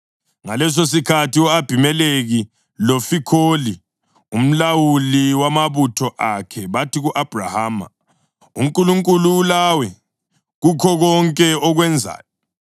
Ngalesosikhathi u-Abhimelekhi loFikholi, umlawuli wamabutho akhe bathi ku-Abhrahama, “UNkulunkulu ulawe kukho konke okwenzayo.